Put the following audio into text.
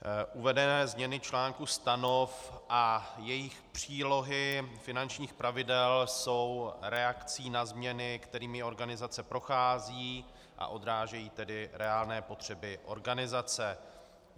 Uvedené změny článků stanov a jejich přílohy, finančních pravidel jsou reakcí na změny, kterými organizace prochází, a odrážejí tedy reálné potřeby organizace.